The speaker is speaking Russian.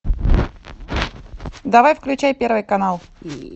давай включай первый канал